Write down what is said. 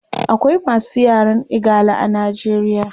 Akawai masu yaren igala a nigeria